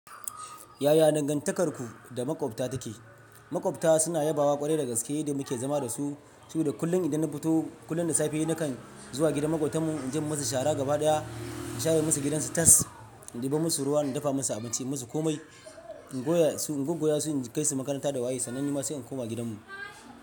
Yaya dangantakarku da maƙwabta take? Maƙwabta suna yabawa ƙwarai da gaske da muke zama da su. Su da kullum idan na fito kullum da safe nakan zuwa gidan maƙwabtan mu in je musu shara gabaɗaya, in share musu gidansu tas, in ɗiba musu ruwa, na dafa musu abinci, yi musu komai, in goya su, in goggoya su, in kai su makaranta da waye, sannan ni ma sai in koma gidanmu.